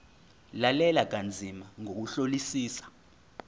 lalela kanzima ngokuhlolisisa